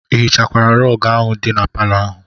Ị hichakwara rọg ahụ dị na palọ ahụ?